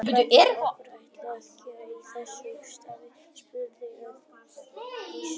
Hvað er okkur ætlað að gera í þessu starfi? spurði Friðrik að nýju.